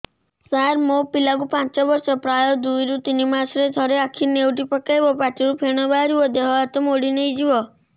ସାର ମୋ ପିଲା କୁ ପାଞ୍ଚ ବର୍ଷ ପ୍ରାୟ ଦୁଇରୁ ତିନି ମାସ ରେ ଥରେ ଆଖି ନେଉଟି ପକାଇବ ପାଟିରୁ ଫେଣ ବାହାରିବ ଦେହ ହାତ ମୋଡି ନେଇଯିବ